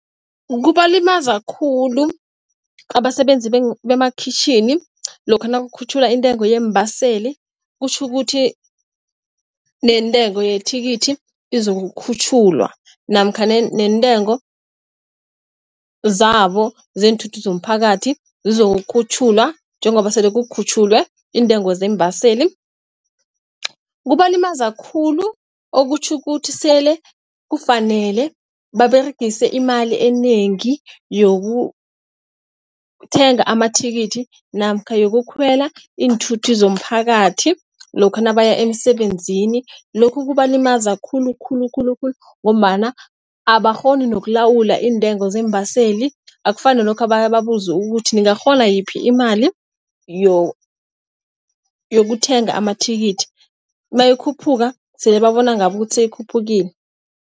Kubalimaza khulu abasebenzi bemakhwitjhini lokha nakukhutjhulwa intengo yeembaseli. Kutjhukuthi neentengo yethikithi izokukhutjhulwa, namkha neentengo zabo zeenthuthi zomphakathi zizokukhutjhulwa. Njengoba sele kukhutjhulwe iintengo zeembaseli kubalimaza khulu, okutjho ukuthi sele kufanele baberegise imali enengi yoke ukuthenga amathikithi. Namkha yokukhwela iinthuthi zomphakathi lokha nabaya emsebenzini. Lokhu kubalimaza khulukhulu khulukhulu ngombana abakghoni nokulawula iintengo zeembaseli. Akufani nalokha bababuza ukuthi ningakghona yiphi imali yokuthenga amathikithi, nayikhuphuka sele babona ngabo ukuthi seyikhuphukile.